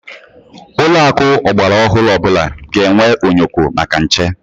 Ụlọakụ ọgbaraọhụrụ ọbụla ga-enwe onyoko maka nche.